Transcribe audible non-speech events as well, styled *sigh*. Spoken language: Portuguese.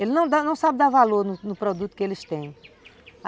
Eles *unintelligible* não sabem dar valor no no produto que eles têm.